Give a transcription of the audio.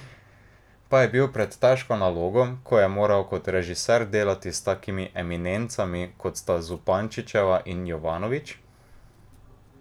Pa je bil pred težko nalogo, ko je moral kot režiser delati s takimi eminencami, kot sta Zupančičeva in Jovanović?